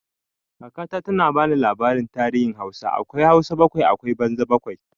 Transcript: Kaka na ta ba ni labarin tarihin Hausa, akwai Hausa bakwai akwai banza bakwai.